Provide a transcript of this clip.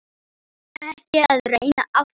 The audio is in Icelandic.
Ekki að reyna aftur.